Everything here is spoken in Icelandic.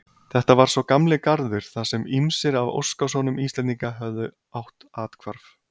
Þetta var sá gamli Garður þarsem ýmsir af óskasonum Íslendinga höfðu átt athvarf.